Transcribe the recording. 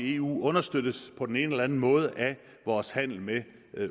i eu understøttes på den ene eller anden måde af vores handel med